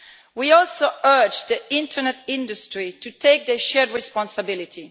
We also urge the internet industry to take their shared responsibility.